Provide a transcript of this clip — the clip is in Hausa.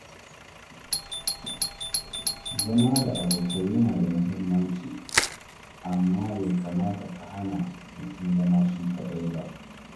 Zama da abokai yana da muhimmanci amma bai kamata ya hana mutum zama shi kaɗai ba.